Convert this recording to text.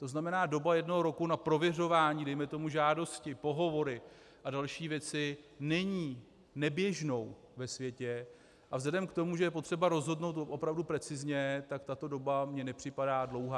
To znamená, doba jednoho roku na prověřování dejme tomu žádosti, pohovory a další věci není neběžnou ve světě a vzhledem k tomu, že je potřeba rozhodnout opravdu precizně, tak tato doba mi nepřipadá dlouhá.